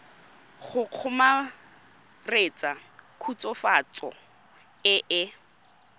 go kgomaretsa khutswafatso e e